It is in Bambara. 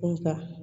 Nka